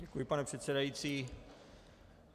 Děkuji, pane předsedající.